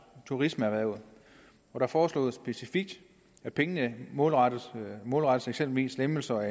turismeerhvervet der foreslås specifikt at pengene målrettes målrettes eksempelvis lempelser